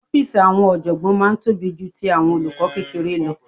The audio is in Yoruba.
Ọ́fíìsì àwọn ọ̀jọ̀gbọ́n máa ń tóbi ju ti àwọn olùkọ́ kékeré lọ